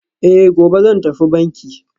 Eh, gobe zan tafi banki